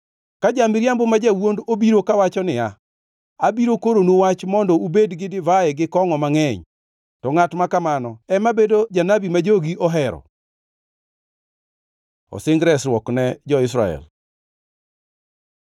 Ka ja-miriambo ma jawuond obiro kawacho niya, ‘Abiro koronu wach mondo ubed gi divai gi kongʼo mangʼeny,’ to ngʼat makamano ema bedo janabi ma jogi ohero! Osing resruok ne jo-Israel